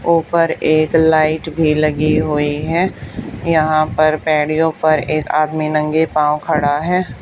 ऊपर एक लाइट भी लगी हुई है यहां पर पैड़ियों पर एक आदमी नंगे पांव खड़ा है।